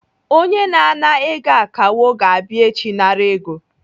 Onye na-ana ego akawo ga-abịa echi nara ego.